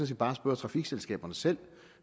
set bare spørge trafikselskaberne selv